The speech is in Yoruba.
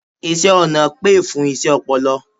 iṣẹ ọna pè fún iṣé ọpọlọ